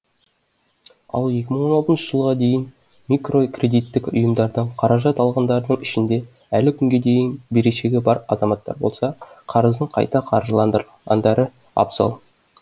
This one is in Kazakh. ал екі мың он алтыншы жылға дейін микрокредиттік ұйымдардан қаражат алғандардың ішінде әлі күнге дейін берешегі бар азаматтар болса қарызын қайта қаржыландырғандары абзал